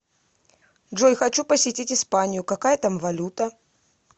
джой хочу посетить испанию какая там валюта